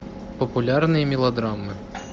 популярные мелодрамы